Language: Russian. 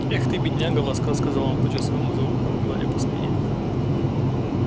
эх ты бедняга ласково сказал он почёсывать ему за ухом и гладя по спине